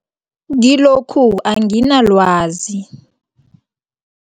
Kilokhu anginalwazi.